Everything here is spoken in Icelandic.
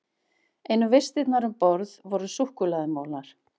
Einu vistirnar um borð voru súkkulaðimolar.